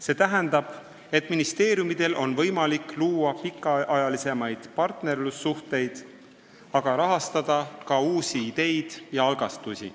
See tähendab, et ministeeriumidel on võimalik luua pikemaajalisi partnerlussuhteid, aga rahastada ka uusi ideid ja algatusi.